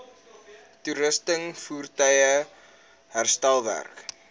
toerusting voertuie herstelwerk